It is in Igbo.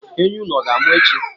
Ehi unu ọ ga-amụ echi?